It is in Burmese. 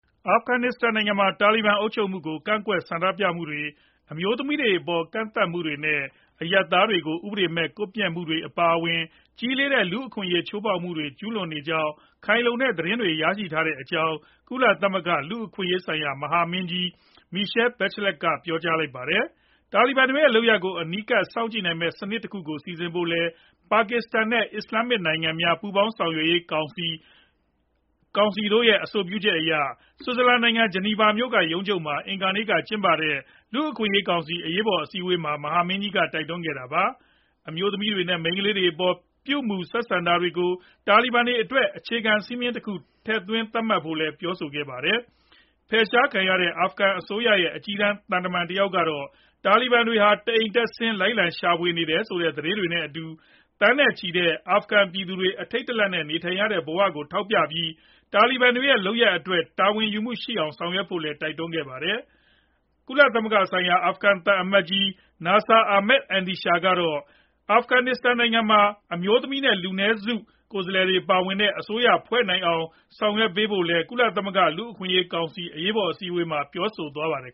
အာဖဂနစ္စတန်နိုင်ငံမှာ တာလီဘန်အုပ်ချုပ်မှုကို ကန့်ကွက်ဆန္ဒပြမှုတွေ၊ အမျိုးသမီးတွေအပေါ် ကန့်သတ်ချက်တွေနဲ့ အရပ်သားတွေကို ဥပဒေမဲ့ ကွပ်မျက်မှုတွေ အပါအဝင် ကြီးလေးတဲ့ လူ့အခွင့်အရေး ချိုးဖောက်မှုတွေ ကျုးလွန်နေကြောင်း ခိုင်လုံတဲ့သတင်းတွေ ရရှိထားကြောင်း ကုလသမဂ္ဂ လူ့အခွင့်အရေးဆိုင်ရာ မဟာမင်းကြီး Michelle Bachelet က ပြောလိုက်ပါတယ်။ တာလီဘန်တွေရဲ့ လုပ်ရပ်တွေကို အနီးကပ် စောင့်ကြည့်နိုင်မယ့် စနစ်တခုကို စီစဉ်ဖို့လည်း ပါကစ္စတန်နဲ့ အစ္စလာမ်နိုင်ငံများ ပူးပေါင်းဆောင်ရွက်ရေး ကောင်စီတို့ရဲ့ အဆိုပြုချက်အရ ဆွစ်ဇာလန်နိုင်ငံ ဂျနီဗာမြို့က ရုံးချုပ်မှာ အင်္ဂါနေ့က ကျင်းပတဲ့ လူ့အခွင့်အရေးကောင်စီ အရေးပေါ် အစည်းအဝေးမှာ မဟာမင်းကြီးက တိုက်တွန်းခဲ့တာပါ။ အမျိုးသမီးတွေနဲ့ မိန်းကလေးတွေအပေါ် ပြုမူဆက်ဆံတာတွေကို တာလီဘန်တွေအတွက် အခြေခံစည်းမျဉ်းတခုအဖြစ် ထည့်သွင်းသတ်မှတ်ဖို့လည်း ပြောဆိုခဲ့ပါတယ်။ ဖယ်ရှားခံလိုက်ရတဲ့ အာဖဂန်အစိုးရရဲ့ အကြီးတန်း သံတမန်တယောက်ကတော့ တာလီဘန်တွေ တအိမ်တက်ဆင်း လိုက်လံရှာဖွေနေတယ်ဆိုတဲ့ သတင်းတွေနဲ့အတူ သန်းနဲ့ချီတဲ့ အာဖဂန်ပြည်သူတွေ အထိတ်တလန့်နဲ့ နေထိုင်နေရတဲ့ ဘဝကို ထောက်ပြပြီး တာလီဘန်တွေရဲ့ လုပ်ရပ်အတွက် တာဝန်ယူမှုရှိအောင် ဆောင်ရွက်ဖို့လည်း တိုက်တွန်းခဲ့တာပါ။ ကုလသမဂ္ဂဆိုင်ရာ အာဖဂန်သံအမတ်ကြီး Nasir Ahmad Andisha ကတော့ အာဖဂန်နစ္စတန်နိုင်ငံမှာ အမျိုးသမီး နဲ့ လူမျိုးစု လူနည်းစု ကိုယ်စားလှယ်တွေ ပါဝင်တဲ့ အစိုးရဖွဲ့စည်းနိုင်အောင် ဆောင်ရွက်ပေးဖို့လည်း ကုလသမဂ္ဂလူ့အခွင့်အရေးကောင်စီ အရေးပေါ် အစည်းအဝေးမှာ ပြောဆိုသွားပါတယ်